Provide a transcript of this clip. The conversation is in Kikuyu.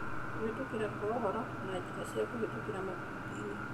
Kũhĩtũkĩra kwa ũhoro na njĩra cia kũhĩtũkĩra makundi-inĩ